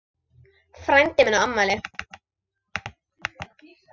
Frændi minn á afmæli.